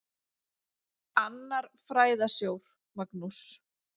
Annar fræðasjór, Magnús